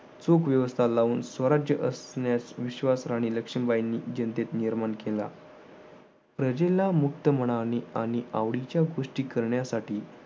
चोख व्यवस्था लावून स्वराज्य असण्यास विश्वास राणी लक्ष्मीबाईंनी जनतेत निर्माण केला. प्रजेला मुक्त मनाने आणि आवडीच्या गोष्टी करण्यासाठी